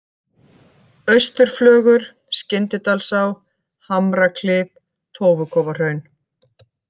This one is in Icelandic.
Austurflögur, Skyndidalsá, Hamraklif, Tófukofahraun